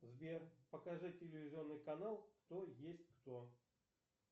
сбер покажи телевизионный канал кто есть кто